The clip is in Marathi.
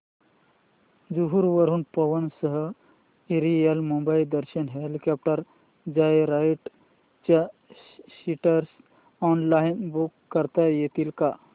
जुहू वरून Pawan Hans aerial Mumbai Darshan helicopter joyride च्या सीट्स ऑनलाइन बुक करता येतील का